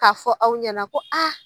K'a fɔ aw ɲana ko a